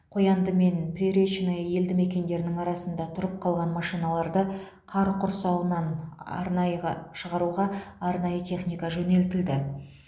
қоянды мен приречное елді мекендерінің арасында тұрып қалған машиналарды қар құрсауынан арнайға шығаруға арнайы техника жөнелтілді